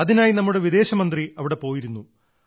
അതിനായി നമ്മുടെ വിദേശ മന്ത്രി അവിടെ പോയിരുന്നു